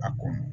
A ko